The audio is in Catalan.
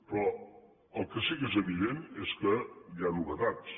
però el que sí que és evident és que hi ha novetats